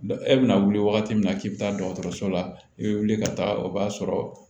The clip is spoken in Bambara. E bɛna wuli wagati min na k'i bɛ taa dɔgɔtɔrɔso la i bɛ wuli ka taga o b'a sɔrɔ